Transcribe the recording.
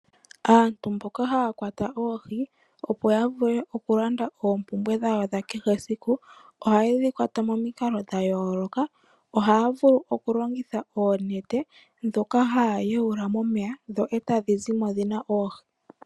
Aantu mboka ha ya kwata oohi opo yavule okulanda oompumbwe dhayo dha kehe esiku, oha ye dhikwata momikalo dha yooloka, oha ya vulu okulongitha oonete ndhoka ha ya tula momeya eta dhi zi mo dhina oohi.